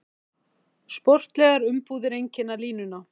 Sportlegar umbúðir einkenna línuna